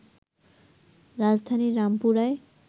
রাজধানীর রামপুরায়